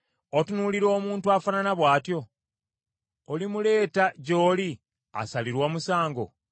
Otunuulira omuntu afaanana bw’atyo? Olimuleeta gy’oli asalirwe omusango?